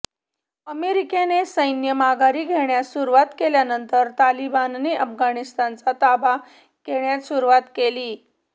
अमेरिकेने सैन्य माघारी घेण्यास सुरुवात केल्यानंतर तालिबानने अफगाणिस्तानचा ताबा घेण्यास सुरुवात केली